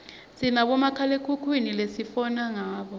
sinabomakhalekhukhwini lesifona ngabo